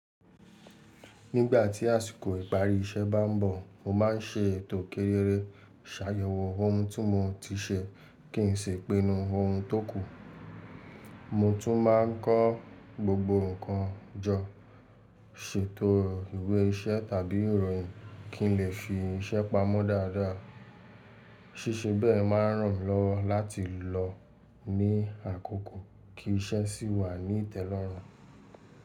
Nígbà tí àsìkò ìparí iṣẹ́ bá ń bọ̀, mo má a ń ṣe ètò kérere, ṣàyẹ̀wò ohun tí mo ti ṣe kí n sì pinu ohun tókù. Mo tún máa ń kọ́ gbogbo nǹkan jọ, ṣètò ìwé iṣẹ́ tàbí ìròyìn kí n lè fi iṣẹ́ pamọ́ dáadáa. Síṣe bẹ́ẹ̀ máa ń ràn mí lọ́wọ́ láti lọ ní àkókò kí iṣẹ́ sì wà ní ìtẹ́lọ́rùn.